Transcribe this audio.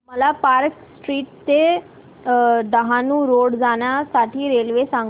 मला Park Street ते Dahanu road जाण्या साठी रेल्वे सांगा